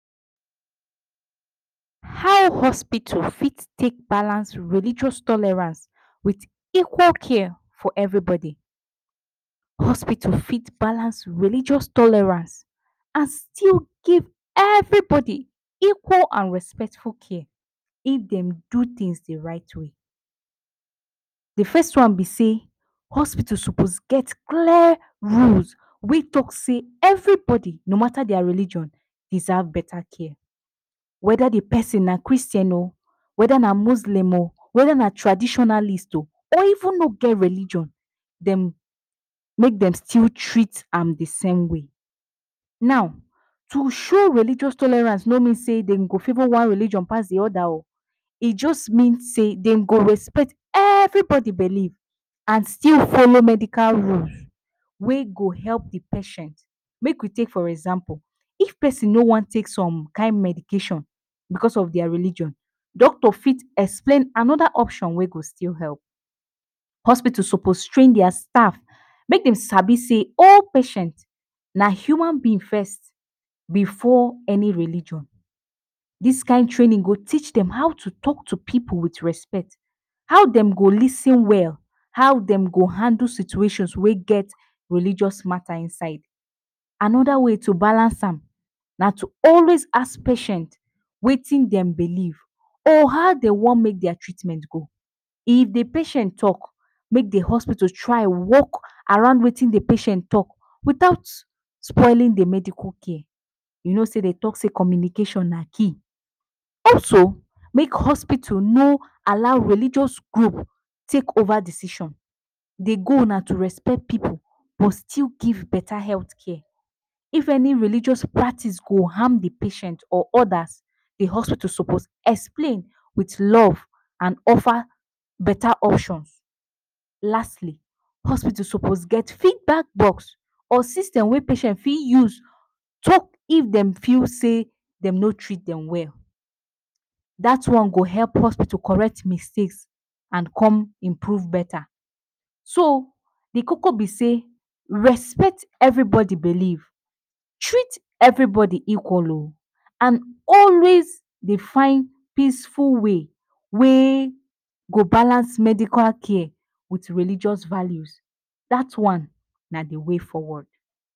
How hospital fit take balance religious tolerance with equal care for everybody? Hospital fit balance religious tolerance and still give every bodi equal and respectful care if dem do tins the right way. The first one be sey: hospital sopos get clear rules wey talk sey every bodi, no mata dia religion, deserve beta care. Weda the pesin na Christian o, weda na muslim o, weda na traditionalist o, or even no get religion, dem mey dem still treat am the same way. Now, to show religious tolerance no mean sey dem go favor one religion pass the oda o, e just mean sey dem go respect everybodi belief and still folo medical rules wey go help the patient, make we take for example if pesin no wan take som kind medication, because of dia religion, doctor fit explain anoda option wey go still help. Hospital sopos train dia staff make dem sabi sey all patient na human being first before any religion. Dis kain trainin go teach dem how to talk to pipu with respect. How dem go lis ten well, how dem go handle situation wey get religious mata inside. Anoda way to balance am, na to always ask patient wetin dem belief or how dem want make dia treatment go, if the patient talk, make the hospital try work around wetin the patient talk without spoilin the medical care, you no sey de talk sey communication na key, also, make hospital no allow religious group take ova decision. The goal nato respect pipu but still give beta health care. If any religious practice go harm the patient or odas, the hospital sopos explain with love and offer beta options. Lastly, hospital sopos get feedback box or system wey pesin fit use talk if dem feel sey dem no treat dem well, dat one go help hospital correct mistake and come improve beta, so the koko be sey, respect everybodi belief, treat everybody equal o and always dey find peaceful way wey go balance medical care with religious values, dat one na the way forward.